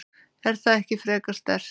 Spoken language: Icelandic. Er það ekki frekar sterkt?